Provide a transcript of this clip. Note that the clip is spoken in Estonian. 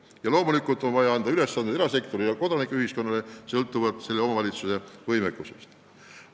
Ja loomulikult on vaja anda ülesandeid erasektorile ja kodanikuühiskonnale, sõltuvalt iga omavalitsuse võimekusest.